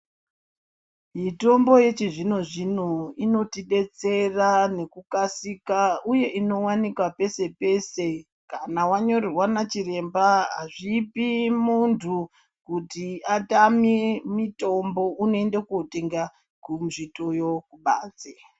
Mitombo yechi zvonozvino ino tidetsera ngekukassika uye inowanikwa pese pese kana wanyorerwa nachiremba hazvipi muntu kuti atame mitombo unoenda koo tengakuzvitoyo kubanze.